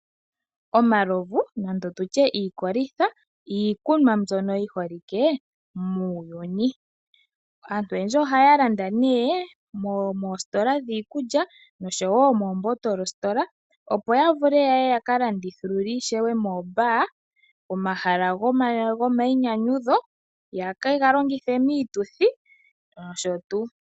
Omalovu nenge tutye iikolitha iikunwa mbyono yi holike muuyuni. Aantu oyendji ohaya landa moositola dhiikulya nomoostola dhiikunwa opo yavule yakalandithulule ishewe muundingosho, pomahala gomayinyanyudho yaka longithe miituthi nosho tuu.